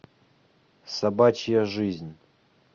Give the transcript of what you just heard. собачья жизнь